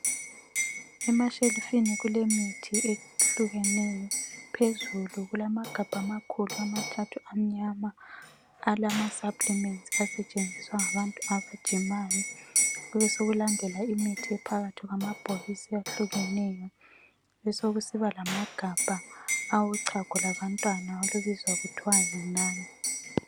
Emashelifini kulemithi ehlukeneyo, phezulu kulamagabha amakhulu amathathu amnyana alama saplimenti asetshenziswa ngabantu abajimayo. Kubesekulandela imithi ephakathi kwamabhokisi ahlukeneyo besekusiba lamagabha awochago labantwana olubizwa kuthwa yiNan.